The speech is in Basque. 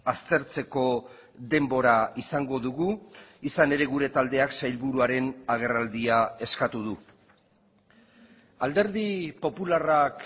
aztertzeko denbora izango dugu izan ere gure taldeak sailburuaren agerraldia eskatu du alderdi popularrak